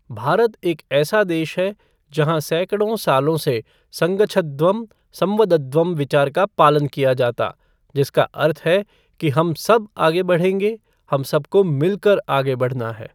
भारत एक ऐसा देश है, जहाँ सैकड़ों सालों से संगच्छध्वं, संवदध्वं विचार का पालन किया जाता, जिसका अर्थ है कि हम सब आगे बढ़ेंगे, हम सबको मिलकर आगे बढ़ना है।